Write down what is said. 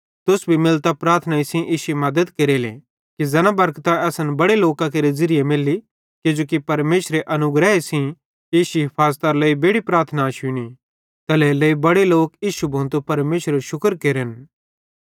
तुस भी मिलतां प्रार्थनाई सेइं इश्शी मद्दत केरेले कि ज़ैना बरकतां असन बड़ां लोकां केरे ज़िरिये मैली किजोकि परमेशरे अनुग्रहे सेइं इश्शी हाफज़तरे लेइ बेड़ि प्रार्थनां शुन्नी तैल्हेरेलेइ बड़े लोक इश्शू भोतू परमेशरेरू शुक्र केरन